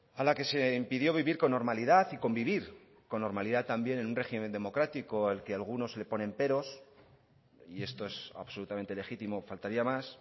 a la que se impidió vivir con normalidad y convivir con normalidad también en un régimen democrático al que algunos le ponen peros y esto es absolutamente legítimo faltaría más